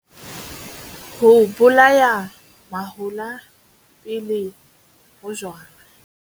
Ho bolaya mahola pele ho jalwa.